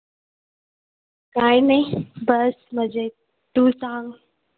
काही नाही बस मजेत तू सांग